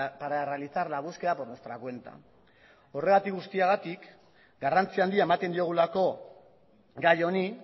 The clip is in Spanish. para realizar la búsqueda por nuestra cuenta horregatik guztiagatik garrantzi handia ematen diogulako gai honi